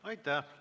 Aitäh!